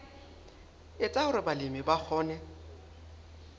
etsa hore balemi ba kgone